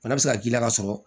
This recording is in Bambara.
Bana bɛ se ka k'i la ka sɔrɔ